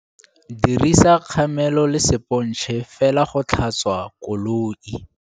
Dirisa kgamelo le sepontšhe fela go tlhatswa koloi.